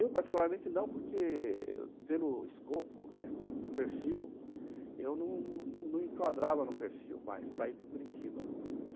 Eu, particularmente, não, porque pelo escopo, né, do perfil, eu não não enquadrava no perfil mais para ir para Curitiba.